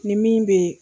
Ni min bɛ